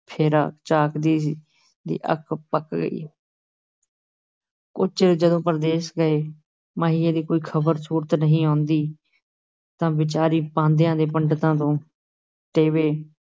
ਫੇਰਾ, ਝਾਕਦੀ ਦੀ ਅੱਖ ਪੱਕ ਗਈ ਕੁੱਝ ਚਿਰ ਜਦੋਂ ਪਰਦੇਸ ਗਏ ਮਾਹੀਏ ਦੀ ਕੋਈ ਖ਼ਬਰ ਸੁਰਤ ਨਹੀਂ ਆਉਂਦੀ, ਤਾਂ ਵਿਚਾਰੀ ਪਾਂਧਿਆਂ ਤੇ ਪੰਡਿਤਾਂ ਤੋਂ ਟੇਵੇ